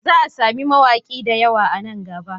Za a samu mawaki da yawa nan gaba